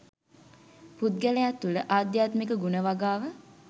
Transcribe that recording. පුද්ගලයා තුළ ආධ්‍යාත්මික ගුණ වගාව